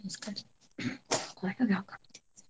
ನಮಸ್ಕಾರಿ .